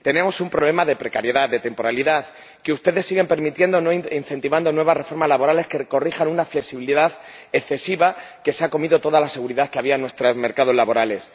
Tenemos un problema de precariedad, de temporalidad, que ustedes siguen permitiendo al no incentivar nuevas reformas laborales que corrijan una flexibilidad excesiva que se ha comido toda la seguridad que había en nuestros mercados laborales.